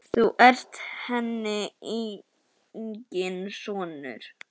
Þú ert henni enginn sonur.